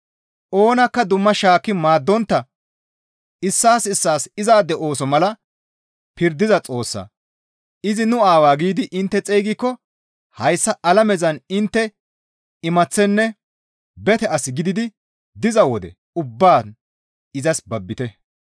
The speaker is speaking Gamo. Oonakka dumma shaakki maaddontta issaas issaas izaade ooso mala pirdiza Xoossaa, «Izi nu Aawaa» giidi intte xeygikko hayssa alamezan intte imaththenne bete as gididi diza wode ubbaan izas babbite.